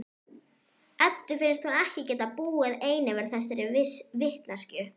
Eddu finnst hún ekki geta búið ein yfir þessari vitneskju.